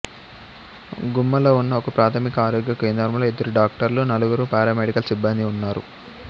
గుమ్మలో ఉన్న ఒకప్రాథమిక ఆరోగ్య కేంద్రంలో ఇద్దరు డాక్టర్లు నలుగురు పారామెడికల్ సిబ్బందీ ఉన్నారు